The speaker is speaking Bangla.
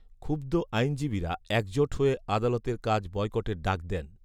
ক্ষুব্ধ আইনজীবীরা একজোট হয়ে আদালতের কাজ বয়কটের ডাক দেন